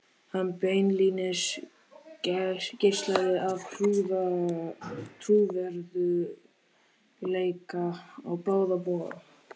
Hann beinlínis geislaði af trúverðugleika á báða bóga.